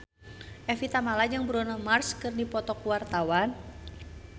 Evie Tamala jeung Bruno Mars keur dipoto ku wartawan